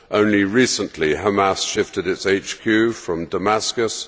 Only recently, Hamas shifted its HQ from Damascus.